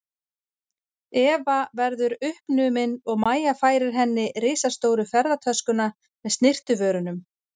Eva verðu uppnumin og Mæja færir henni risastóru ferðatöskuna með snyrtivörunum.